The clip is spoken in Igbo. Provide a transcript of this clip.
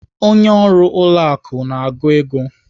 Onye ọrụ ụlọ akụ na-agụ ego.